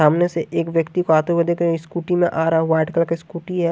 सामने से एक व्यक्ति को आते हुए देख स्कूटी में आ रहा वाइट कलर का स्कूटी है।